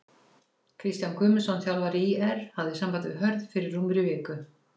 Kristján Guðmundsson þjálfari ÍR hafði samband við Hörð fyrir rúmri viku.